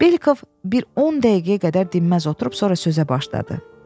Belkov bir 10 dəqiqəyə qədər dinməz oturub, sonra sözə başladı.